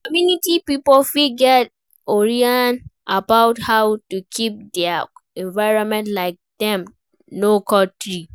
Community pipo fit get orientation about how to keep their environment, like make dem no cut tree